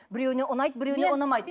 біреуіне ұнайды біреуіне ұнамайды